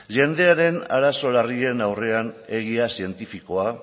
jendearen arazo larrien aurrean egia zientifikoa